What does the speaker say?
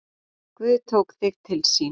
Guð tók þig til sín.